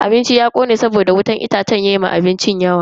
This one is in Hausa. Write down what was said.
Abincin ya kone saboda wutan itacen ya ma abincin yawa.